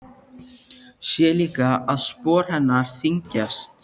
Sé líka að spor hennar þyngjast.